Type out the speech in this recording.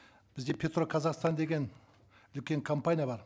бізде петроказахстан деген үлкен компания бар